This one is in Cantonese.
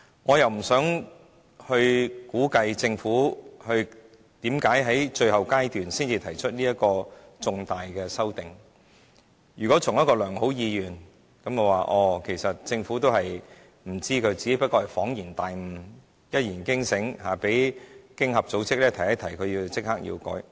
我不想估計政府為何在最後階段才提出如此重大的修訂，如果從一個良好的意願，政府都不知道，只是恍然大悟、一言驚醒，被經合組織提醒後就立即修改。